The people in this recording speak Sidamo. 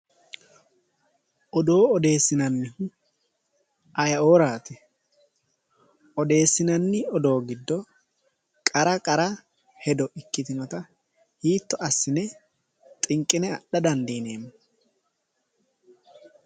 Odoo odeessinannihu ayeeoraati? odeessinanni odoo giddo qara qara hedo ikkitinota hiitto assi'ne xinqi'ne adha dandiineemmo?